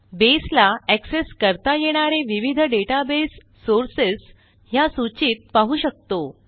बसे ला एक्सेस करता येणारे विविध डेटाबेस सोर्सेस ह्या सूचीत पाहू शकतो